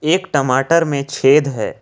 एक टमाटर में छेद है।